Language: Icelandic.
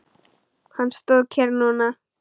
Hann stóð kyrr núna.